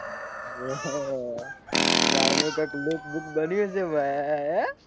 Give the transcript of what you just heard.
કઈક લુક બૂક બન્યું હશે ભાઈ હે.